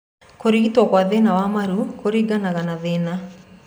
Kũrigito kwa thĩna wa maru kũringanaga na thĩna.